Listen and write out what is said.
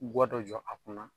Gwa dɔ jɔ a kunna